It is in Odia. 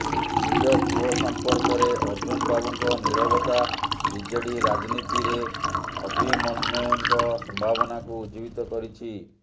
ନିଜ ପୁଅ ସଂପର୍କରେ ଅର୍ଜୁନ ବାବୁଙ୍କ ନୀରବତା ବିଜେଡି ରାଜନୀତିରେ ଅଭିମନୁ୍ୟଙ୍କ ସମ୍ଭାବନାକୁ ଉଜ୍ଜୀବିତ କରିଛି